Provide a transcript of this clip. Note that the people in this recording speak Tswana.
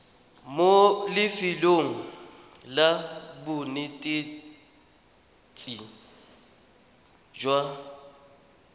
mo lefelong la bonetetshi jwa